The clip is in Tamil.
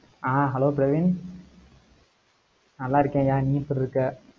ஆஹ் hello பிரவீன். நல்லா இருக்கேன்யா, நீ எப்படி இருக்க?